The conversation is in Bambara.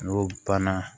N'o banna